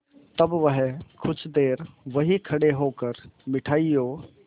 तब वह कुछ देर वहीं खड़े होकर मिठाइयों